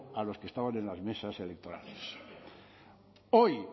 a los que estaban en las mesas electorales hoy